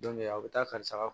a bɛ taa karisa ka